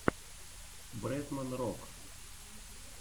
бретман рок